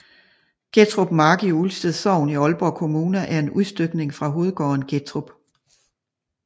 Gettrup Mark i Ulsted Sogn i Aalborg Kommune er en udstykning fra hovedgården Gettrup